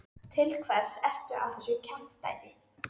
Til hvers ertu að þessu kjaftæði?